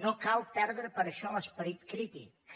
no cal perdre per això l’esperit crític